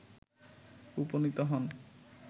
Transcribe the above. উপনীত হন